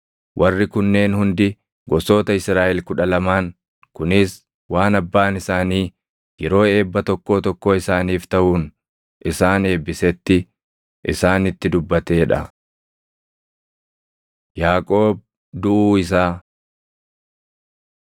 Warri kunneen hundi gosoota Israaʼel kudha lamaan; kunis waan abbaan isaanii yeroo eebba tokkoo tokkoo isaaniif taʼuun isaan eebbisetti isaanitti dubbatee dha. Yaaqoob Duʼuu Isaa